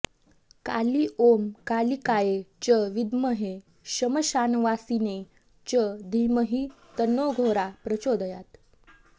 काली ॐ कालिकायै च विद्महे श्मशानवासिन्यै च धीमहि तन्नोऽघोरा प्रचोदयात्